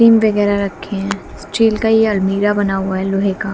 वगैरा रखे है स्टील का ये अलमीरा बना हुआ लोहे का--